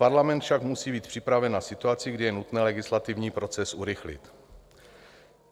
Parlament však musí být připraven na situaci, kdy je nutné legislativní proces urychlit.